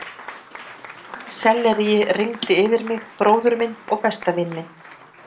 Selleríi rigndi yfir mig, bróður minn og besta vin minn.